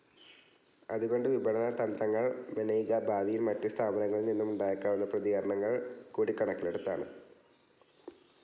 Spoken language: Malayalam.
അതുകൊണ്ട് വിപണനതന്ത്രങ്ങൾ മെനയുക ഭാവിയിൽ മറ്റ് സ്ഥാപനങ്ങളിൽനിന്നുമുണ്ടായേക്കാവുന്ന പ്രതികരണങ്ങൾ കൂടി കണക്കിലെടുത്താണ്.